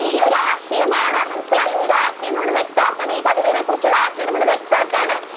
ഈ ഒരു ആശയം ആണ് മനസ്സിലായോ ഒരു ആശയം നമ്മൾ വ്യക്തം ആക്കുവാണ് ഈ കവിതയെ കുറിച്ചുള്ള ആശയം നമ്മൾ വ്യക്തം ആക്കുവാണ്.